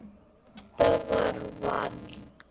Þetta var Valdi.